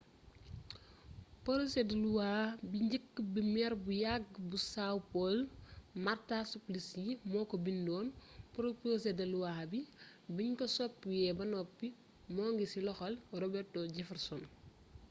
porosé de luwa bi njëkk bi meer bu yàgg bu são paulo marta suplicy moo ko bindoon porosé de luwa bi biñ ko soppiwee ba noppi moo ngi ci loxol robeto jefferson